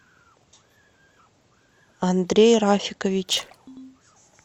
андрей рафикович